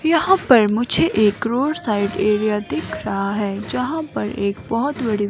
यहां पर मुझे एक रोड साइड एरिया दिख रहा है जहां पर एक बहुत।